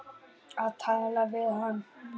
Að tala við hana!